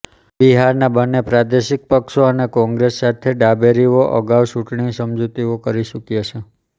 બિહારના બંને પ્રાદેશિક પક્ષો અને કોંગ્રેસ સાથે ડાબેરીઓ અગાઉ ચૂંટણી સમજૂતીઓ કરી ચૂક્યા છે